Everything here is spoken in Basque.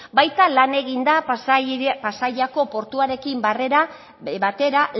baita lan egin da pasaiako portuarekin batera